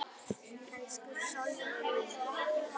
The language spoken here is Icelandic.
Elsku Sólrún mín.